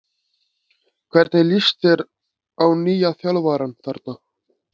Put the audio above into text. Hvernig lýst þér á nýja þjálfarann þar?